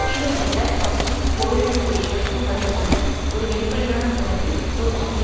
தீவிரப்பட்ட மற்றும் போரிட கூடிய உழைக்கும் வர்க்கத்துடன் ஒரு வெளிப்படையான மோதலை தோற்றுவிக்க